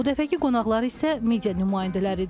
Bu dəfəki qonaqları isə media nümayəndələridir.